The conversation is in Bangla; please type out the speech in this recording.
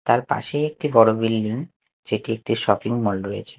তার পাশেই একটি বড় বিল্ডিং যেটি একটি শপিং মল রয়েছে।